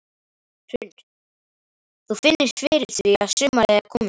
Hrund: Þú finnur fyrir því að sumarið er komið?